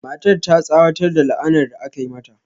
Matar ta tsawatar da la'anar da aka yi mata.